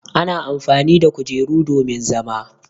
Ana amfani da kujeru domin zama.